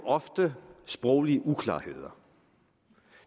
ofte sproglige uklarheder